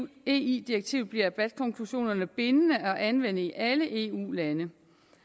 ie direktivet bliver bat konklusionerne bindende at anvende i alle eu lande